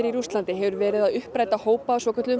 Rússlandi hefur verið að uppræta hópa af svokölluðum